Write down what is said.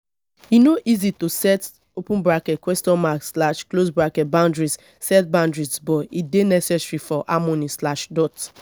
e no easy to set boundaries set boundaries but e dey necessary for harmony.